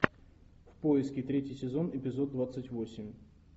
в поиске третий сезон эпизод двадцать восемь